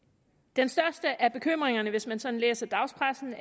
den største af bekymringerne hvis man sådan læser dagspressen